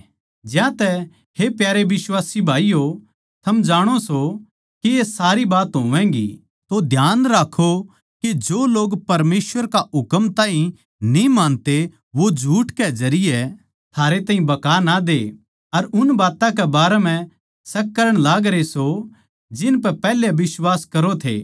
ज्यांतै हे प्यारे बिश्वासी भाईयो थम जाणो सों के ये सारी बात होवैंगी तो ध्यान राक्खों के जो लोग परमेसवर का हुकम ताहीं न्ही मानते वो झूठ के जरिये थारे ताहीं बहका ना दे अर उन बात्तां के बारें म्ह शक करण लागरे सों जिनपै पैहले बिश्वास करो थे